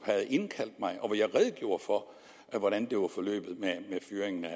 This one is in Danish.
havde indkaldt mig og hvor jeg redegjorde for hvordan fyringen af